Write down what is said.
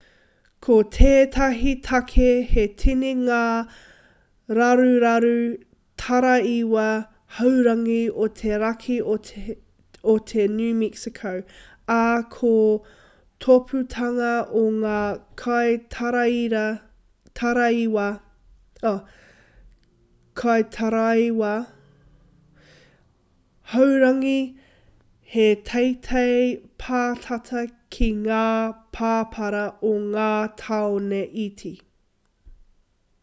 ko tētahi take he tini ngā raruraru taraiwa haurangi o te raki o te new mexico ā ko te tōpūtanga o ngā kaitaraiwa haurangi he teitei pātata ki ngā pāpara o ngā tāone iti